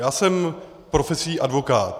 Já jsem profesí advokát.